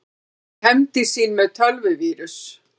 Hefndi sín með tölvuvírus